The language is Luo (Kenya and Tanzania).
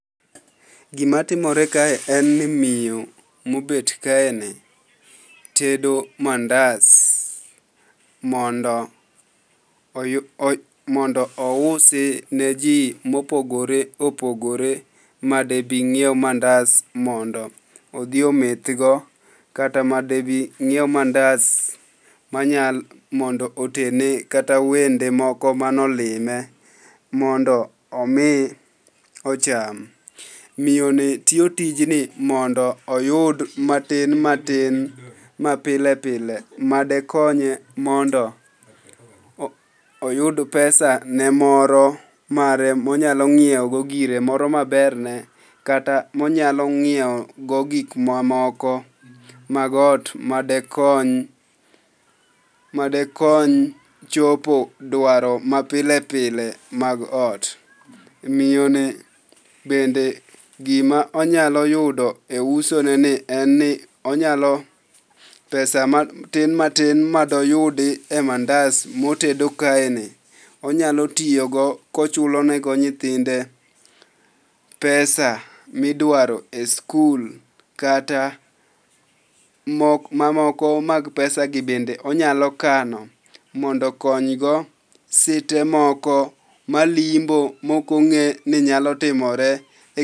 Gimatimore kae en ni miyo mobet kaeni, tedo mandas mondo ousi ne ji mopogore opogore madebi ng'iew mandas mondo odhi omethgo kata madebi nyiew mandas mondo otene kata wende moko manolime, mondo omi ocham. Miyoni tiyo tijni mondo oyud matin matin mapile pile, madekonye mondo oyud pesane moro mare monyalo ng'iewogo gire moro maberne kata monyalo ng'iewogo gik mamoko mag ot, madekony, chopo dwaro mapile pile mag ot. Miyoni bende gima onyalo yudo e usoneni en ni onyalo pesa matin matin madoyudie mandas motedo kaeni, onyalo tiyogo kochulo nego nyithinde pesa midwaro e skul, kata mamoko mag pesagi bende onyalo kano mondo oknygo site moko malimbo mokong'e ni nyalo timore.